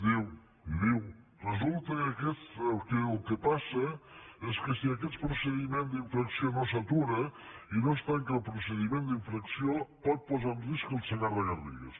diu diu resulta que el que passa és que si aquest procediment d’infracció no s’atura i no es tanca el procediment d’infracció pot posar en risc el segarra garrigues